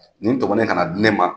Nin tɔmɔnen ka na di ne ma.